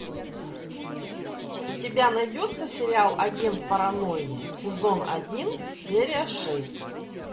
у тебя найдется сериал агент паранойи сезон один серия шесть